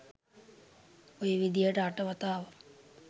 ඔය විදිහට අට වතාවක්